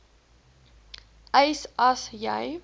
eis as jy